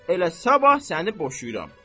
Elə sabah səni boşayıram.